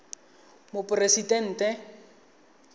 moporesidente